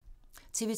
TV 2